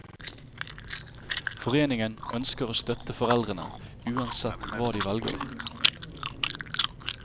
Foreningen ønsker å støtte foreldrene uansett hva de velger.